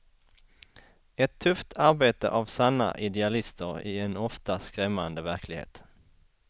Ett tufft arbete av sanna idealister i en ofta skrämmande verklighet.